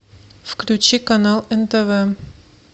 включи канал нтв